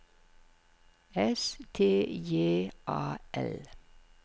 S T J A L